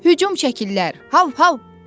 Hücum çəkirlər, hav, hav!